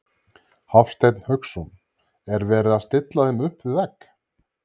Hafsteinn Hauksson: Er verið að stilla þeim upp við vegg?